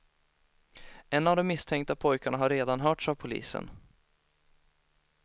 En av de misstänkta pojkarna har redan hörts av polisen.